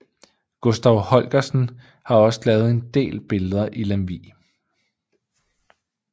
Gustav Holgersen har også lavet en del billeder i Lemvig